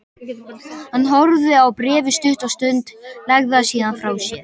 Hann horfði á bréfið stutta stund, lagði það síðan frá sér.